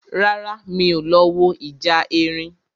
Rárá, mi ò lọ wo ìjà erin